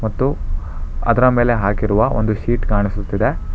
ಮತ್ತು ಅದರ ಮೇಲೆ ಹಾಕಿರುವ ಒಂದು ಶೀಟ್ ಕಾಣಿಸುತ್ತಿದೆ.